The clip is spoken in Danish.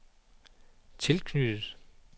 tilknyttet